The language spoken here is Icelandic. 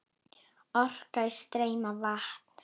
Orka í streymi vatns.